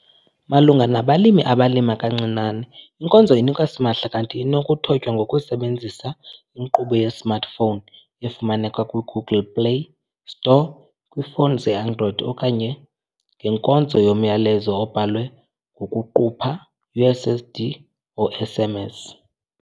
Malunga nabalimi abalima kancinane inkonzo inikwa simahla kanti inokuthotywa ngokusebenzisa inkqubo yesmartphone efumaneka kwiGoogle Play Store kwiifowuni zeAndroid okanye ngenkonzo yomyalezo obhalwe ngokuqupha, USSD or SMS.